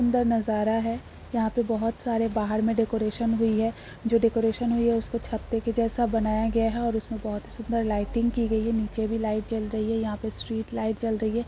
सुन्दर नज़ारा है । यहां पर बोहत सारे बहार में डेकोरेशन हुई है जो डेकोरेशन हुई है उसे छत्ते के जैसा बनाया गया है और उसमें बहुत ही सुन्दर लाइटिंग की गयी है नीचे भी लाईट जल रही है। यहाँ पे स्ट्रीट लाईट जल रही है ।